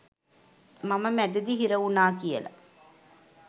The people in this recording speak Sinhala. මම මැදදි හිර වුණා කියාල.